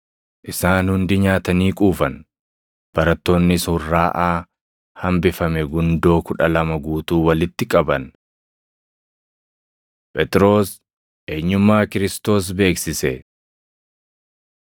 Isaan hundi nyaatanii quufan; barattoonnis hurraaʼaa hambifame gundoo kudha lama guutuu walitti qaban. Phexros Eenyummaa Kiristoos Beeksise 9:18‑20 kwf – Mat 16:13‑16; Mar 8:27‑29 9:22‑27 kwf – Mat 16:21‑28; Mar 8:31–9:1